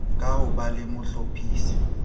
ka ho ba le mohlophisi